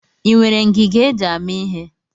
I nwere ngiga e ji amị ihe?